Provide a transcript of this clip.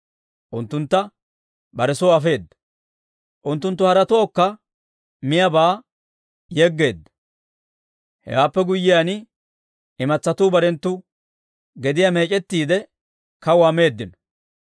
Unttuntta bare soy afeedda; unttunttu haretookka miyaabaa yeggeedda. Hewaappe guyyiyaan, imatsatuu barenttu gediyaa meec'ettiide, kawuwaa meeddino.